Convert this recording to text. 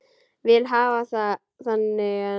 Vil hafa það þannig enn.